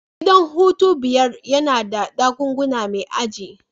Gidan hutu biyar yana da dakuna mai aji.